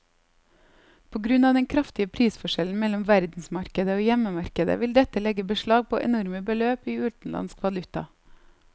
På grunn av den kraftige prisforskjellen mellom verdensmarkedet og hjemmemarkedet vil dette legge beslag på enorme beløp i utenlandsk valuta.